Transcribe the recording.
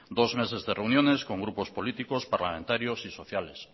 dos meses de reuniones con grupos políticos parlamentarios y sociales